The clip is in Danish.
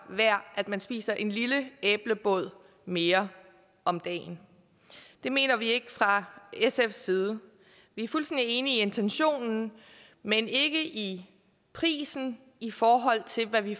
værd at man spiser en lille æblebåd mere om dagen det mener vi ikke fra sfs side vi er fuldstændig enige i intentionen men ikke i prisen i forhold til hvad vi